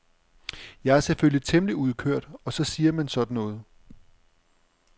Jeg er selvfølgelig temmelig udkørt og så siger man sådan noget.